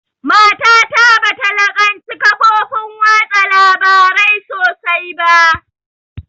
Mata ta bata laƙanci kafofin watsa labarai sosai ba